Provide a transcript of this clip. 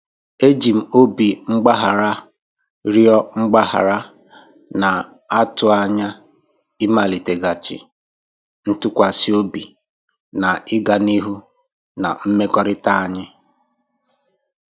Eji m obi mgbaghara rịọ mgbaghara, na-atụ anya ịmaliteghachi ntụkwasị obi na ịga n'ihu na mmekọrịta anyị.